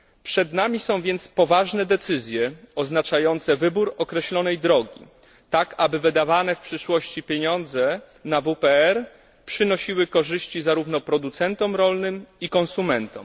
Przed nami stoją poważne decyzje oznaczające wybór określonej drogi, tak aby wydawane w przyszłości pieniądze na WPR przynosiły korzyści zarówno producentom rolnym, jak i konsumentom.